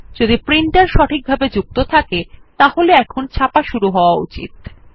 যদি প্রিন্টার সঠিকভাবে যুক্ত থাকে তাহলে এখন ছাপা শুরু হয়ে যাওয়া উচিত